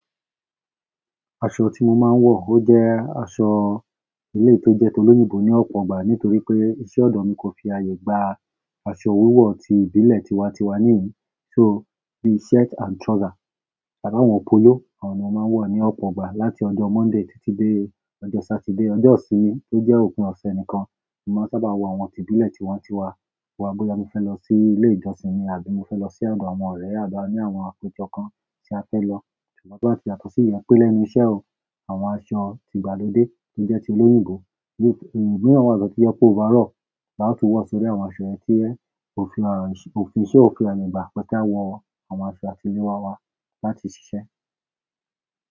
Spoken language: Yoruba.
Aṣọ tí mo máa ń wọ, ó jẹ́ aṣọ ilé tó jẹ́ tolóyìnbó ní ọ̀pọ̀ ọgbà nítorí pé iṣẹ́ ọ̀dọ̀ mi kò fi ààyè gba aṣọ wíwọ̀ ti ìbílẹ̀ tiwa-tiwa níhìí. So, bí shirt and trouser tàbí àwọn polo, àwọn náà máa ń wọ̀ ní ọ̀pọ̀ ọgbà láti ọjọ́ Monday títí dé ọjọ́ Saturday. Ọjọ́ ìsinmi tó jẹ́ òpin ọ̀sẹ̀ nìkan, mo máa ń sábà wọ àwọn ti ìbílẹ̀ tiwa-tiwa. Bóyá mo fẹ́ lọ sí ilé ìjósìn ni àbí mo fẹ́ lọ sí ọ̀dọ̀ àwọn ọrẹ́ àbí a ní àwọn àpèjọ tí a fẹ́ lọ. Ṣùgbọ́n tí ó bá ti yàtọ̀ sí yẹn pé lẹ́nu iṣẹ́ o, àwọn aṣọ ti ìgbàlódé tó jẹ́ ti olóyìnbó, eléyìí tí, ní wọ́n wá lọ́tí yọp ọ́ over all, là wọ̀ tú wọ̀ sórí àwọn aṣọ ẹni tí ẹ fi iṣẹ́ òfin ẹ̀yìn bá pẹ́ tí a wọ àwọn aṣọ àtilé wa wa láti ṣiṣẹ́.